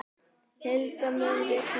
Hilda, mun rigna í dag?